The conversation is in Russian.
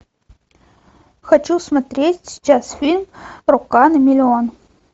хочу смотреть сейчас фильм рука на миллион